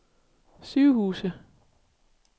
sygehuse